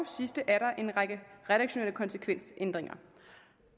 sidste er der en række redaktionelle konsekvensændringer